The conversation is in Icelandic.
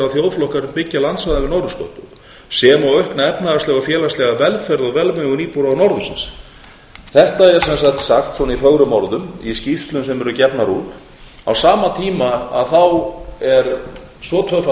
þjóðflokka er byggja landsvæðin við norðurskaut sem og aukna efnahagslega og félagslega velferð og velmegun íbúa norðursins þetta er sem sagt sagt svona í fögrum orðum í skýrslum sem eru gefnar út á sama tíma er svo tvöfalt